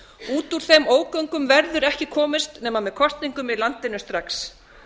út úr þeim ógöngum verður ekki komist nema með kosningum í landinu strax